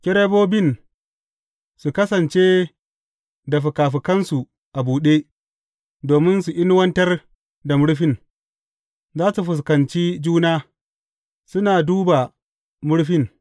Kerubobin su kasance da fikafikansu a buɗe, domin su inuwantar da murfin, za su fuskanci juna, suna duba murfin.